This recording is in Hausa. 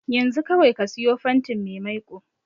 Yanzu kawai ka siyo fantin mai maiko.